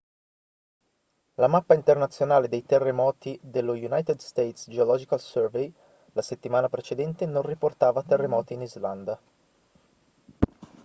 la mappa internazionale dei terremoti dello united states geological survey la settimana precedente non riportava terremoti in islanda